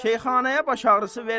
Şeyxanaya baş ağrısı vermə.